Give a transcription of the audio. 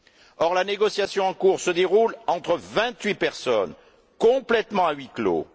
Or, la négociation en cours se déroule entre vingt huit personnes, complètement à huis clos.